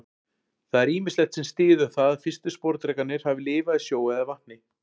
Það er ýmislegt sem styður það að fyrstu sporðdrekarnir hafi lifað í sjó eða vatni.